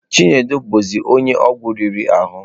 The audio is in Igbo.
Chinedu bụzi onye ọgwụ riri ahụ.